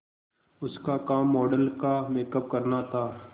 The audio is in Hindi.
उसका काम मॉडल का मेकअप करना था